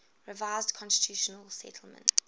revised constitutional settlement